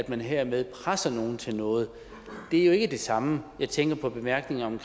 man hermed presser nogen til noget det er jo ikke det samme jeg tænker på bemærkningen om